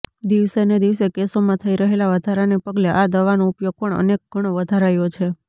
દિવસેને દિવસે કેસોમાં થઈ રહેલા વધારાને પગલે આ દવાનો ઉપયોગ પણ અનેક ગણો વધારાયો છે